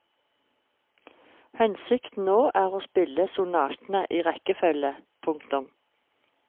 Hensikten nå er å spille sonatene i rekkefølge. punktum